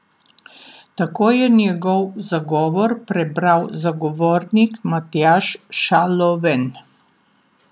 Tako je njegov zagovor prebral zagovornik Matjaž Šaloven.